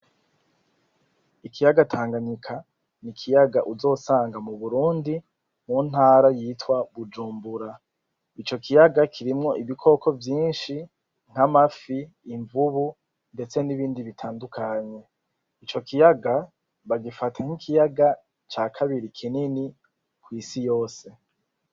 Ikiyaga Tanganyika, ni ikiyaga uzosanga mu Burundi mu ntara yitwa Bujumbura. Ico kiyaga kirimwo ibikoko vyinshi nk'amafi, imvubu ndetse n'ibindi bitandukanye. Ico kiyaga bagifata nk'ikiyaga ca kabiri kinini kw'isi yose.